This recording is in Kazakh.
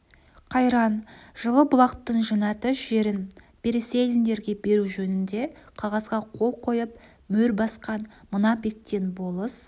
қайран жылы-бұлақтың жәннаты жерін переселендерге беру жөнінде қағазға қол қойып мөр басқан мына бектен болыс